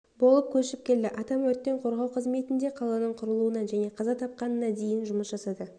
болып көшіп келді атам өрттен қорғау қызметінде қаланың құрылуынан және қаза тапқанына дейін жұмыс жасады